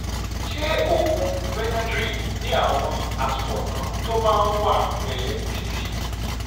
ṣé oògùn benadryl ní àwọn àtúbọ̀tán tó máa ń wà pẹ́ títí?